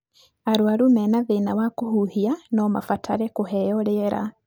Arwaru mena thĩna wa kũhuhia no mabatare kũheo rĩera.